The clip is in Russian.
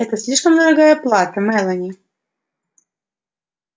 это слишком дорогая плата мелани